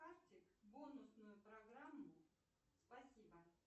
бонусную программу спасибо